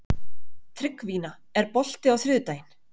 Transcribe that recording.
Tryggvína, er bolti á þriðjudaginn?